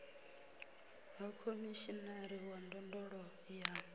ha khomishinari wa ndondolo ya